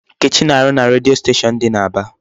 Nkechi na-arụ na redio station dị n'Aba.